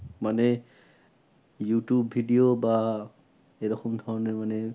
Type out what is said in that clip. মানে youtube video বা এরকম ধরণের মানে